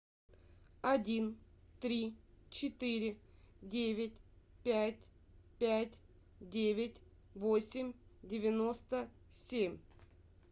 один три четыре девять пять пять девять восемь девяносто семь